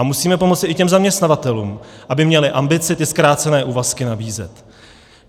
A musíme pomoci i těm zaměstnavatelům, aby měli ambici ty zkrácené úvazky nabízet.